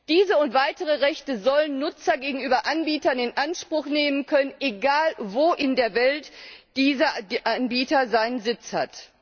Diese und weitere Rechte sollen Nutzer gegenüber Anbietern in Anspruch nehmen können, egal wo in der Welt dieser Anbieter seinen Sitz hat.